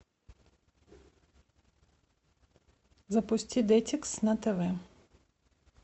запусти детикс на тв